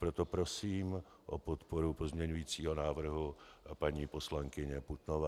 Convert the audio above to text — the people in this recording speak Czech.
Proto prosím o podporu pozměňujícího návrhu paní poslankyně Putnové.